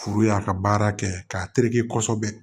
Furu y'a ka baara kɛ k'a tereke kosɛbɛ